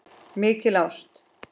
Mikil ást.